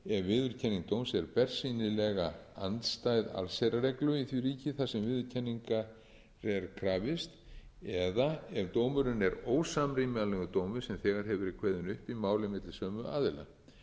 viðurkenning dóms er bersýnilega andstæð allsherjarreglu í því ríki þar sem viðurkenninga er krafist eða ef dómurinn er ósamrýmanlegur dómi sem þegar hefur